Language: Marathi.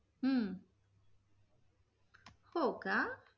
हम्म हो का?